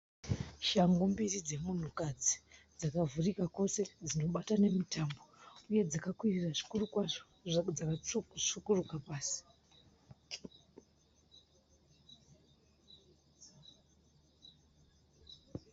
Shangu mbiri dzemunhukadzi dzakavhurika kwose dzinobata nemutambo uye dzakakwirira zvikuru kwazvo dzakatsvukuruka pasi.